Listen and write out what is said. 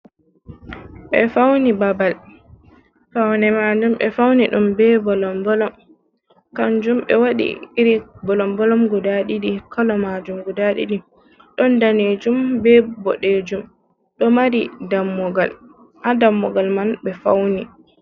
Ɓe fawni babal, fawne maajum ɓe fawni ɗum bee bolom-bolom. Kannjum ɓe waɗi iri bolom-bolom guda ɗiɗi, kolo maajum gudaa ɗiɗi ɗon daneejum bee boɗejum ɗo mari dammugal, Ha dammugal man ɓe fawni.